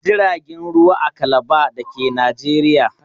Akwai Tashar jiragen ruwa a Kalaba da ke Najeriya.